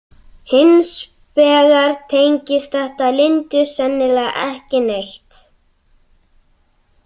Hins vegar tengist þetta Lindu sennilega ekki neitt.